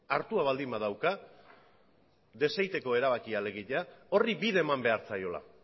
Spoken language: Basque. hartua baldin badauka desegiteko erabakia alegia horri bide eman behar zaiola